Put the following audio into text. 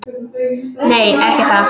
Nei, ekki það!